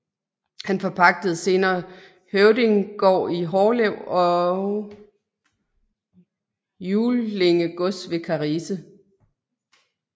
Han forpagtede senere Høvdinggård i Hårlev og Juellinge gods ved Karise